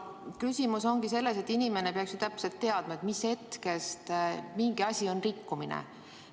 Küsimus on selles, et inimene peaks ju täpselt teadma, mis hetkest mingi asi on rikkumine.